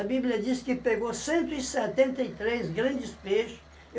Bíblia diz que pegou cento e setenta e três grandes peixe.